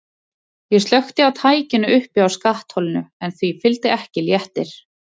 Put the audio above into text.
Ég slökkti á tækinu uppi á skattholinu en því fylgdi ekki léttir.